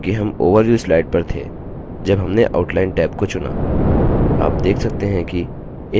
यह इसलिए क्योंकि हम overview slide पर थे जब हमने outline टैब को चुना